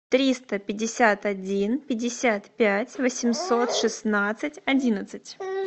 триста пятьдесят один пятьдесят пять восемьсот шестнадцать одиннадцать